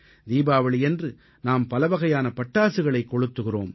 தீபாவளியன்று நாம் பலவகையான பட்டாசுகளைக் கொளுத்துகிறோம்